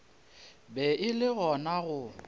be e le gona go